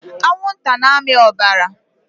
Anwụnta na-amị ọbara.